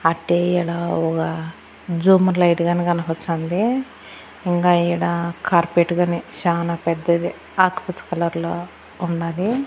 అట్టే ఈడ ఒగా జుమ్ము లైటుగానె కనపచాంది ఇంకా ఈడ కార్పెట్ గాని చానా పెద్దది ఆకుపచ్చ కలర్ లో ఉన్నది.